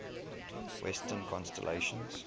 western constellations